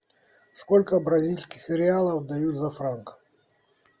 сколько бразильских реалов дают за франк